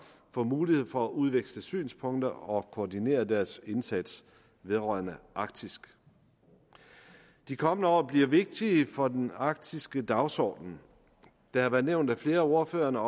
får mulighed for at udveksle synspunkter og koordinere deres indsats vedrørende arktis de kommende år bliver vigtige for den arktiske dagsorden det har været nævnt af flere ordførere